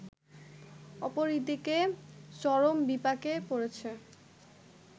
অপরদিকে চরম বিপাকে পড়েছে